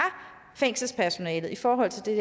fængselspersonalet i forhold til det